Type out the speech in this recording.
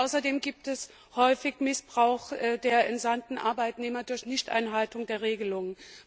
Und außerdem gibt es häufig einen Missbrauch der entsandten Arbeitnehmer durch Nichteinhaltung der Regelungen.